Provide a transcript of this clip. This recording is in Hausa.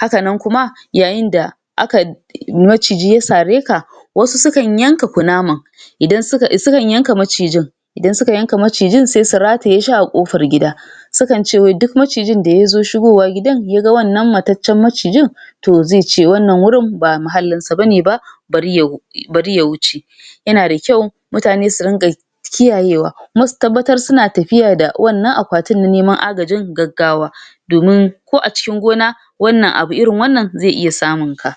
haka nan kuma yayin da akai um maciji ya sare ka wasu su kan yanka kunaman idan suka su kan yanka macijin idan suka yanka macijin sai su rataye shi a ƙofar gida su kan ce wai duk macijin da yazo shigowa gidan ya ga wannan mataccen macijin to zai ce wannan wurin ba mahallinsa bane ba bari ya bari ya wuce yana da kyau mutane su rinƙa kiyayewa kuma su tabbatar suna tapiya da wannan akwatin na neman agajin gaggawa domin ko a cikin gona wannan abu irin wannan zai iya samunka